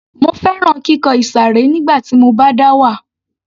Mo fẹ́ràn kíkọ ìsàré nígbà tí mo bá dá wà